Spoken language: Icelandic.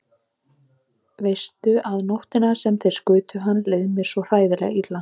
Veistu að nóttina sem þeir skutu hann leið mér svo hræðilega illa.